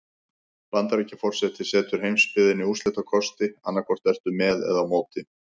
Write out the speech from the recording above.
Bandaríkjaforseti setur heimsbyggðinni úrslitakosti: annað hvort ertu með eða á móti.